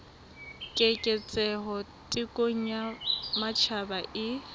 keketseho thekong ya matjhaba e